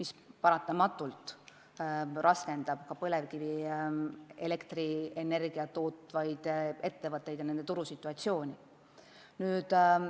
See paratamatult raskendab ka põlevkivielektrienergiat tootvate ettevõtete olukorda turul.